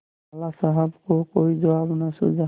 लाला साहब को कोई जवाब न सूझा